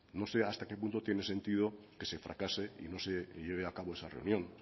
no sé hasta qué punto tiene sentido que se fracase y no se lleve a cabo esa reunión